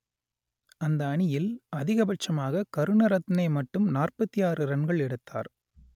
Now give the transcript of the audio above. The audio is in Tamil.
அந்த அணியில் அதிகபட்சமாக கருணரத்னே மட்டும் நாற்பத்தி ஆறு ரன்கள் எடுத்தார்